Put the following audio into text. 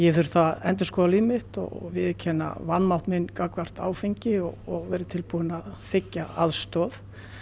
þurft að endurskoða líf mitt og viðurkenna vanmátt minn gagnvart áfengi og verið tilbúinn að þiggja aðstoð